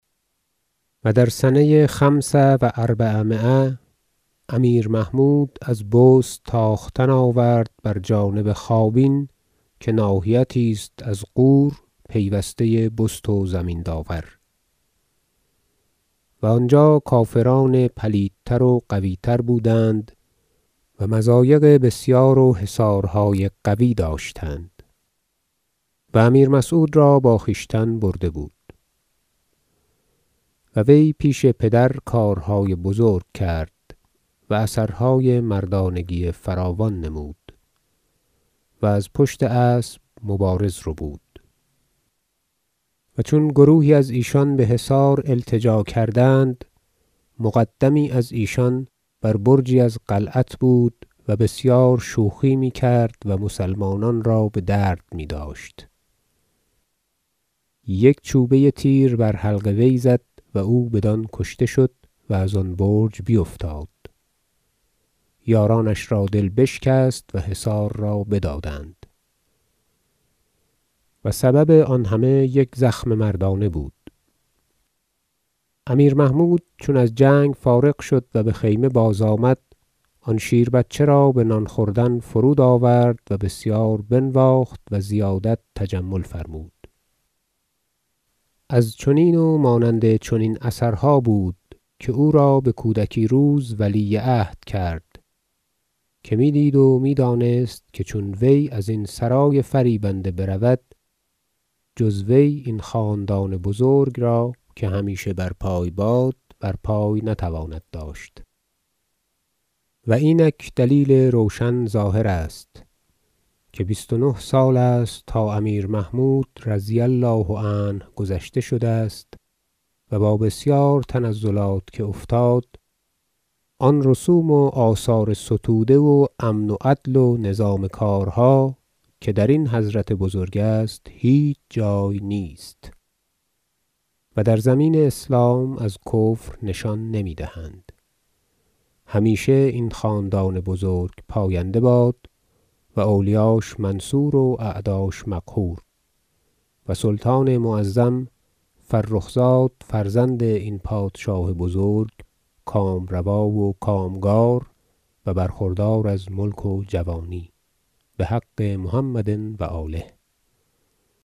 و در سنه خمس و اربعمایه امیر محمود از بست تاختن آورد بر جانب خوابین که ناحیتی است از غور پیوسته بست و زمین داور و آنجا کافران پلیدتر و قوی تر بودند و مضایق بسیار و حصارهای قوی داشتند و امیر مسعود را با خویشتن برده بود و وی پیش پدر کارهای بزرگ کرد و اثرهای مردانگی فراوان نمود و از پشت اسب مبارز ربود و چون گروهی از ایشان به حصار التجا کردند مقدمی از ایشان بر برجی از قلعت بود و بسیار شوخی میکرد و مسلمانان را به درد میداشت یک چوبه تیر بر حلق وی زد و او بدان کشته شد و ازان برج بیفتاد یارانش را دل بشکست و حصار را بدادند و سبب آن همه یک زخم مردانه بود امیر محمود چون از جنگ فارغ شد و به خیمه بازآمد آن شیربچه را به نان خوردن فرود آورد و بسیار بنواخت و زیادت تجمل فرمود از چنین و مانند چنین اثرها بود که او را به کودکی روز ولی عهد کرد که می دید و می دانست که چون وی ازین سرای فریبنده برود جز وی این خاندان بزرگ را - همیشه برپای باد- برپای نتواند داشت و اینک دلیل روشن ظاهر است که بیست و نه سال است تا امیر محمود -رضی الله عنه- گذشته شده است و با بسیار تنزلات که افتاد آن رسوم و آثار ستوده و امن و عدل و نظام کارها که درین حضرت بزرگ است هیچ جای نیست و در زمین اسلام از کفر نشان نمی دهند همیشه این خاندان بزرگ پاینده باد و اولیاش منصور و اعداش مقهور و سلطان معظم فرخزاد فرزند این پادشاه بزرگ کامروا و کامگار و برخوردار از ملک و جوانی بحق محمد و آله